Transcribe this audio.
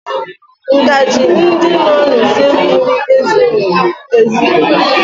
Ngaji ndị nọ n'usekwu m ezughị ezu